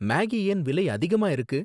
Maggi ஏன் விலை அதிகமா இருக்கு?